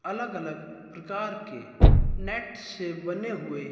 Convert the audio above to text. अलग अलग प्रकार के नेट से बने हुए--